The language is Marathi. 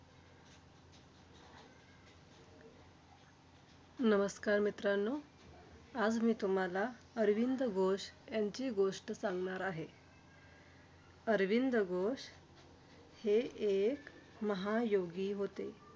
नमस्कार मित्रांनो! आज मी तुम्हांला अरविंद घोष यांची गोष्ट सांगणार आहे. अरविंद घोष हे एक महायोगी होते.